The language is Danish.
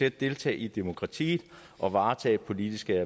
at deltage i demokratiet og varetage politiske